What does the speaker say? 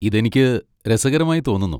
ഇത് എനിക്ക് രസകരമായി തോന്നുന്നു.